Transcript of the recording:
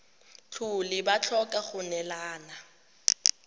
tlhole ba tlhoka go neelana